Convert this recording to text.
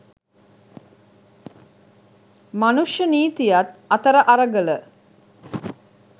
මනුෂ්‍ය නීතියත් අතර අරගල